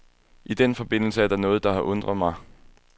I den forbindelse er der noget, der har undret mig.